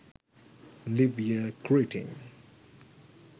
new year greeting